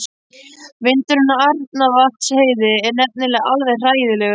Vindurinn á Arnarvatnsheiði er nefnilega alveg hræðilegur.